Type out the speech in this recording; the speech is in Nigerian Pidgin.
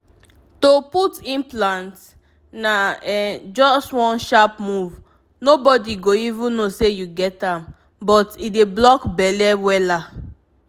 to put implant? na um just one sharp move nobody go even know say you get am but e dey block belle wella!